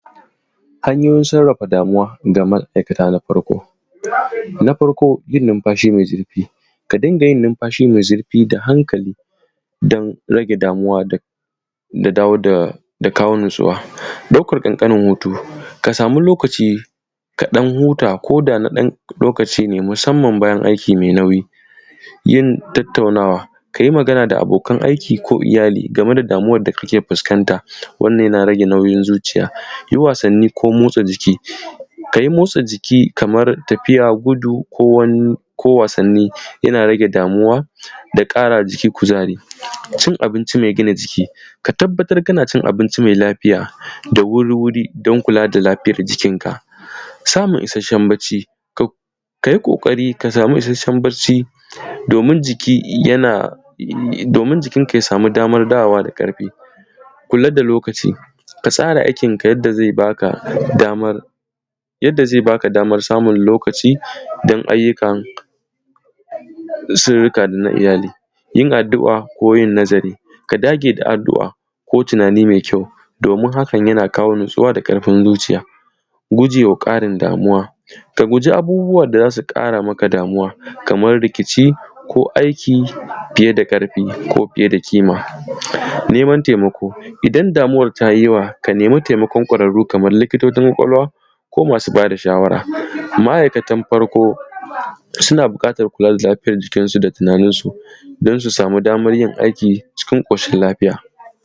Hanyoyin sarrafa damuwa ga ma’aikata, mataki na farko: Yin numfashi mai zurfi ka dinga yin numfashi mai zurfi a hankali don rage damuwa da kawo natsuwa, ɗaukan ƙanƙanin hutu, ka samu lokaci ka ɗan huta ko da na ɗan lokaci ne musamman ma bayan aiki mai nauyi. Yin tattaunawa, ka yi magana da abokan aiki ko iyali game da damuwar da kake fuskanta, wannan yana rage nauyin zuciya. Yin wasanni ko motsa jiki, kamar tafiya, gudu ko wasanni yana rage damuwa da ƙara ma jiki kuzari, Cin abinci mai gina jiki, ka tabbatar kana cin abinci mai lafiya da wuri-wuri, don kula da lafiyar jikinka. Samun issashen bacci, ka yi ƙoƙari ka samu isasshen bacci domin jikinka ya samu damar da zai dawo da ƙarfi. Kula da lokaci, ka tsara aikinka yadda zai ba ka damar samun lokaci don ayyuka da surrruka na iyali. Yin addu’a ko tunani mai kyau, domin hakan yana kawo natsuwa da ƙarfin zuciya. Guje ma ƙarin damuwa, ka guji abubuwan da zasu ƙara maka damuwa, kamar rikici ko aiki fiye da ƙarfi, ko fiye da kima. Neman taimako idan damuwar ta yi yawa, ka nemi taimakon ƙwararru kamar likitocin ƙwaƙwalwa ko masu bada shawara. Ma’aikatan farko suna buƙatar kula da lafiyan jikinsu, da tunaninsu, don su samu damar yin aiki cikin ƙoshin lafiya.